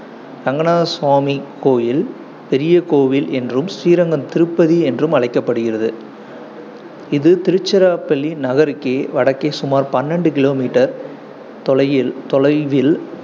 ரங்கநாதசுவாமி கோயில், பெரியகோவில் என்றும் ஸ்ரீரங்கம் திருப்பதி என்றும் அழைக்கப்படுகிறது, இது திருச்சிராப்பள்ளி நகருக்கே வடக்கே சுமார் பன்னெண்டு kilometer தொலையில் தொலைவில்,